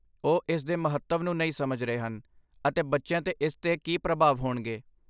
ਉਹ ਇਸ ਦੇ ਮਹੱਤਵ ਨੂੰ ਨਹੀਂ ਸਮਝ ਰਹੇ ਹਨ ਅਤੇ ਬੱਚਿਆਂ ਤੇ ਇਸ ਦੇ ਕੀ ਪ੍ਰਭਾਵ ਹੋਣਗੇ।